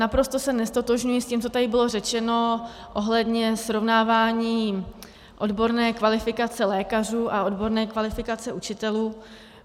Naprosto se neztotožňuji s tím, co tady bylo řečeno ohledně srovnávání odborné kvalifikace lékařů a odborné kvalifikace učitelů.